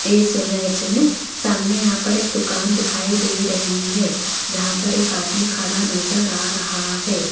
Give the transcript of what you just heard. इस इमेज में सामने यहां पर एक दुकान दिखाई दे रही है जहां पर एक आदमी खड़ा नजर आ रहा है।